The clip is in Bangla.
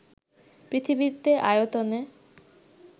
পৃথিবীতে আয়তনে